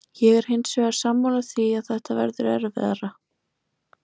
Ég er hins vegar sammála því að þetta verður erfiðara.